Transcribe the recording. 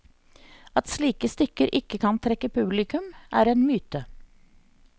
At slike stykker ikke kan trekke publikum, er en myte.